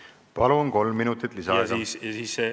Palun, kolm minutit lisaaega!